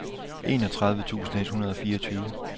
enogtredive tusind et hundrede og fireogtyve